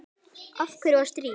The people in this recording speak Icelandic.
Af hverju var stríð?